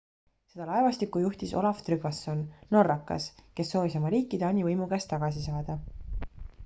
seda laevastikku juhtis olaf trygvasson norrakas kes soovis oma riiki taani võimu käest tagasi saada